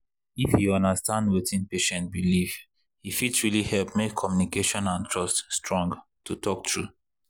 if you understand wetin patient believe e fit really help make communication and trust strong to talk true.